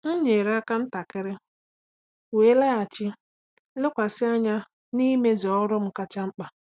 M nyere aka ntakịrị, wee laghachi lekwasị anya n’imezu ọrụ m kacha mkpa.